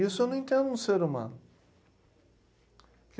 E isso eu não entendo no ser humano.